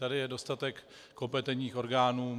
Tady je dostatek kompetentních orgánů.